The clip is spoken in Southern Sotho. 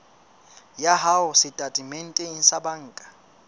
ya hao setatementeng sa banka